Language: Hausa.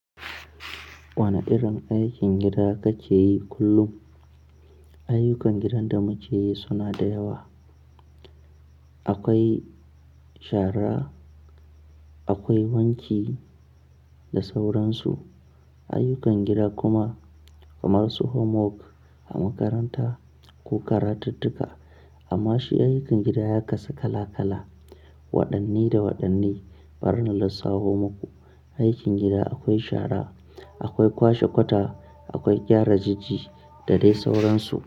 Wane irin aikin gida kake yi kullum? Ayyukan gidan da muke yi suna da yawa. Akwai shara, akwai wanki da sauransu. Ayyukan gida kuma kamar su homework a makaranta ko karatuttuka. Amma shi ayyukan gida ya kasu kala-kala, waɗanne da waɗanne. Bari na lissafo maku. Aikin gida akwai shara, akwai kwashe kwata, akwai gyara jiji da dai sauransu.